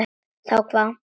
Þá hvað?